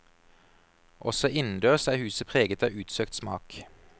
Også innendørs er huset preget av utsøkt smak.